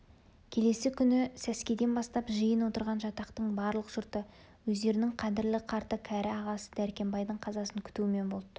келесі күні сәскеден бастап жиын отырған жатақтың барлық жұрты өздерінің қадірлі қарты кәрі ағасы дәркембайдың қазасын күтумен болды